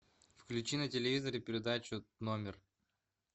включи на телевизоре передачу номер